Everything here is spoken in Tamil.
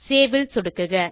சேவ் ல் சொடுக்குக